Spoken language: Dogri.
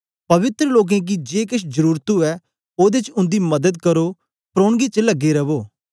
पवित्र लोकें गी जे केछ जरुरत उवै ओदे च उन्दी मदद करो प्रौनगदी च लगे रवो